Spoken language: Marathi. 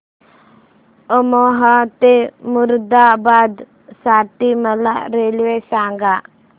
अमरोहा ते मुरादाबाद साठी मला रेल्वे सांगा